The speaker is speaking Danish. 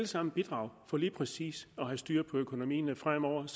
sammen bidrage for lige præcis at have styr på økonomien fremover og